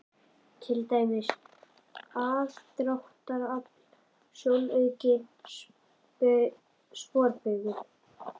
Til dæmis: aðdráttarafl, sjónauki og sporbaugur.